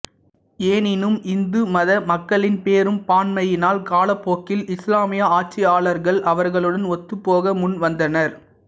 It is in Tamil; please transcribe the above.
எனினும் இந்து மத மக்களின் பெரும்பான்மையினால் காலப்போக்கில் இஸ்லாமிய ஆட்சியாளர்கள் அவர்களுடன் ஒத்துப்போக முன் வந்தனர்